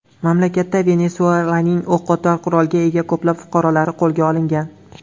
Mamlakatda Venesuelaning o‘qotar qurolga ega ko‘plab fuqarolari qo‘lga olingan.